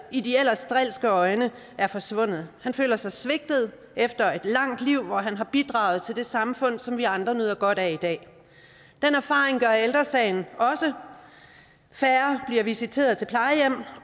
i de ellers drilske øjne er forsvundet han føler sig svigtet efter et langt liv hvor han har bidraget til det samfund som vi andre nyder godt af i dag den erfaring gør ældre sagen også færre bliver visiteret til plejehjem